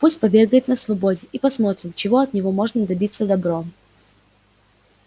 пусть побегает на свободе и посмотрим чего от него можно добиться добром